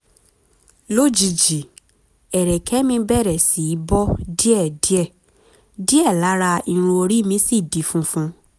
lójijì ẹrẹ̀kẹ́ mi bẹ̀rẹ̀ sí í bọ́ díẹ̀díẹ̀ díẹ̀ lára irun orí mi sì di funfun